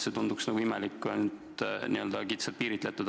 See tunduks imelik, kui see on kitsalt piiritletud.